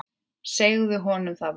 Segðu honum það bara!